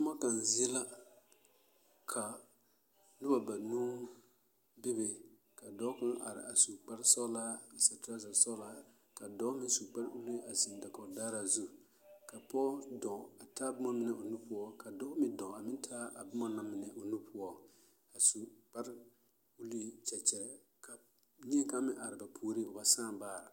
Toma kaŋ zie la ka noba banuu bebe ka dɔɔ kaŋ are a su kparsɔɔlaa a seɛ trɔzasɔɔlaa ka dɔɔ meŋ su kparbuluu a zeŋ dakoɡidaaraa zu ka pɔɔ dɔɔ a taa boma mine o nu poɔ ka dɔɔ meŋ dɔɔ a meŋ taa a boma na mine o nu poɔ a su kparulikyɛkyɛ ka neɛ kaŋ meŋ are ba puoriŋ o ba sãã baare.